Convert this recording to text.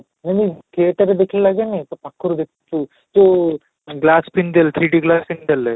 ଯେମିତି କେତେଟା ଦେଖିଲେ ଲାଗେନି ପାଖରୁ ଦେଖୁଛି ଯୋଉ glass spindle three D glass spindle